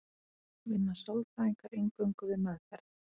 Vinna sálfræðingar eingöngu við meðferð?